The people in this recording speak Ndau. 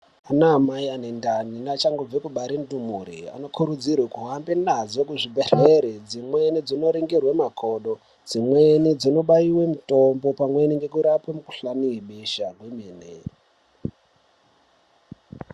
Anamai anendani neachangobva mukubara ndumure anokurudzirwre kuhamba nadzo kuzvibhedhlera dzimweni dzino ningirwe makodo dzimweni dzino bayorwe mutombo pamweni neku rape mikuhlani webesha kwemene.